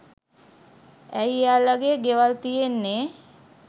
ඇයි එයාලගෙ ගෙවල් තියෙන්නෙ